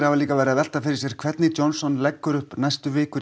hafa líka verið að velta fyrir sér hvernig Johnson leggur upp næstu vikur